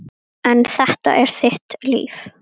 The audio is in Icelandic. En þetta er þitt líf.